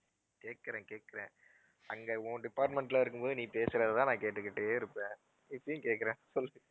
கேட்குறேன், கேட்குறேன். அங்க உன் department ல இருக்கும்போது நீ பேசுறதுதான் நான் கேட்டுக்கிட்டே இருப்பேன். இப்பவும் கேட்கிறேன் சொல்லு.